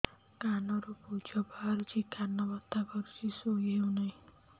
କାନ ରୁ ପୂଜ ବାହାରୁଛି କାନ ବଥା କରୁଛି ଶୋଇ ହେଉନାହିଁ